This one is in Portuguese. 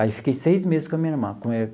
Aí, fiquei seis meses com a minha irmã.